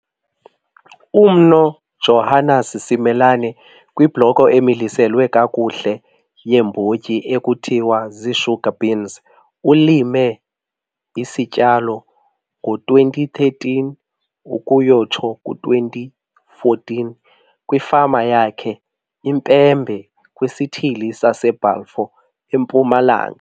UMnu Johannes Simelane kwibhloko emiliselwe kakuhle yeembotyi ekuthiwa zii-sugar beans. Ulime isityalo ngo-2013 ukuyotsho ku-2014 kwifama yakhe iMpembe, kwisithili saseBalfour, eMpumalanga.